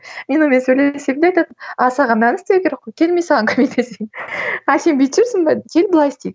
мен онымен сөйлесем де айтатынмын а саған мынаны істеу керек қой кел мен саған көмектесейін а сен бүйтіп жүрсің бе кел былай істейік